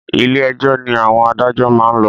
Ilé ẹjọ́ ni àwọn adájọ́ maá n lọ